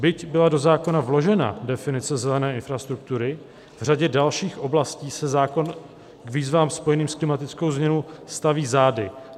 Byť byla do zákona vložena definice zelené infrastruktury, v řadě dalších oblastí se zákon k výzvám spojeným s klimatickou změnou staví zády.